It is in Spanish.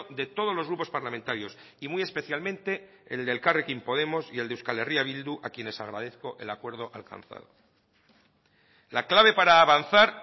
de todos los grupos parlamentarios y muy especialmente el de elkarrekin podemos y el de euskal herria bildu a quienes agradezco el acuerdo alcanzado la clave para avanzar